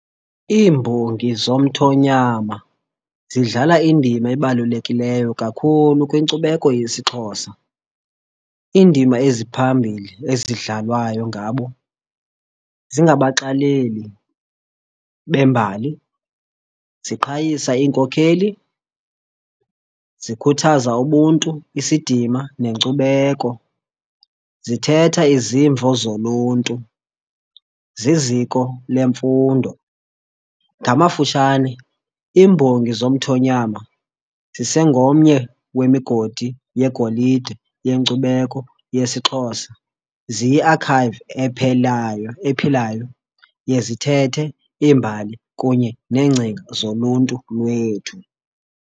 Iimbongi zomthonyama zidlala indima ebalulekileyo kakhulu kwinkcubeko yesiXhosa. Iindima eziphambili ezidlalwayo ngabo zingabaxaleli bembali, ziqhayisa iinkokheli, zikhuthaza ubuntu, isidima nenkcubeko. Zithetha izimvo zoluntu zeziko lemfundo. Ngamafutshane iimbongi zomthonyama zisengomnye wemigodi yegolide yenkcubeko yesiXhosa. Ziyi-archive ephelayo ephilayo yezithethe, iimbali kunye neengcinga zoluntu lwethu.